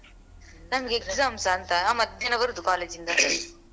ನಮ್ಗೆ exams ಅಂತ ನಾ ಮಧ್ಯಾಹ್ನ ಬರುದು college ಇಂದ .